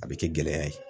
A bɛ kɛ gɛlɛya ye